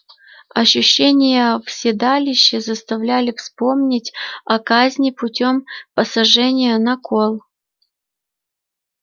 ощущения в седалище заставляли вспомнить о казни путём посажения на кол